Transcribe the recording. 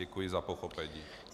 Děkuji za pochopení.